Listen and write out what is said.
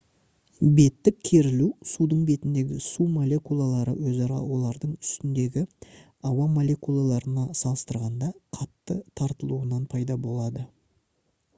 беттік керілу судың бетіндегі су молекулалары өзара олардың үстіндегі ауа молекулаларына салыстырғанда қатты тартылуынан пайда болады